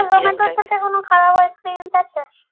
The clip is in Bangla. কোনো খারাপ experience আছে?